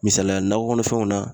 Misaliya nakɔ kɔnɔfɛnw na